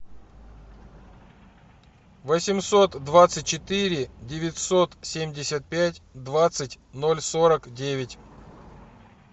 восемьсот двадцать четыре девятьсот семьдесят пять двадцать ноль сорок девять